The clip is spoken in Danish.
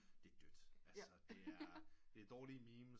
Det er dødt altså det er dårlige memes